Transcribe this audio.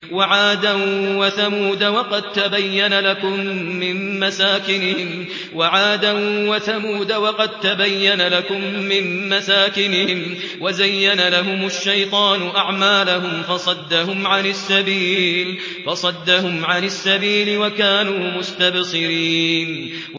وَعَادًا وَثَمُودَ وَقَد تَّبَيَّنَ لَكُم مِّن مَّسَاكِنِهِمْ ۖ وَزَيَّنَ لَهُمُ الشَّيْطَانُ أَعْمَالَهُمْ فَصَدَّهُمْ عَنِ السَّبِيلِ وَكَانُوا مُسْتَبْصِرِينَ